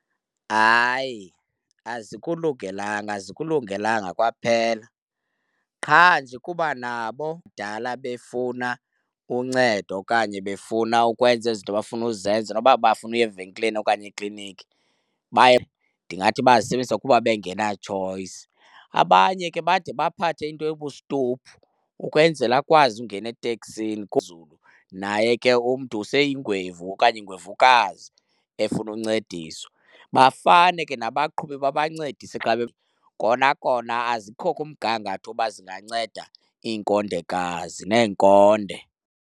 Hayi, azikulungelanga azikulungelanga kwaphela! Qha nje kuba nabo kudala befuna uncedo okanye befuna ukwenza ezinto bafuna uzenza noba bafuna uya evenkileni okanye ekliniki baye, ndingathi bazisebenzisa kuba bengena-choice. Abanye ke bade baphathe into ebustophu ukwenzela akwazi ungena eteksini naye ke umntu seyingwevu okanye ingwevukazi efuna uncediswa. Bafane ke nabaqhubi babancedise xa kona kona azikho kumgangatho uba zinganceda iinkondekazi neenkonde.